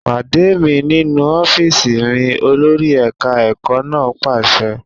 Pàdé mi nínú ọ́fíìsì mi! Olórí ẹ̀ka ẹ̀kọ́ náà pàṣẹ.